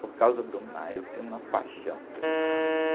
Por causa do mar, eu tenho uma paixão pelo mar, né?